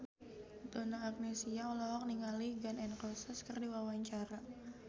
Donna Agnesia olohok ningali Gun N Roses keur diwawancara